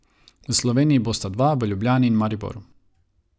V Sloveniji bosta dva, v Ljubljani in Mariboru.